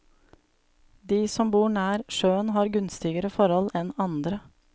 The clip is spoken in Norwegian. De som bor nær sjøen har gunstigere forhold enn andre.